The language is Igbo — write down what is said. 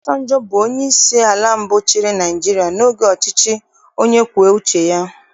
Obasanjọ bụ onyeisi ala mbụ chịrị Naịjirịa n'oge ọchịchị onye kwue uche ya